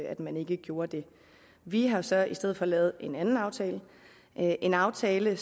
at man ikke gjorde det vi har så i stedet for lavet en anden aftale en aftale